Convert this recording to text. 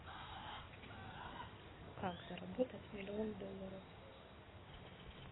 как заработать миллион долларов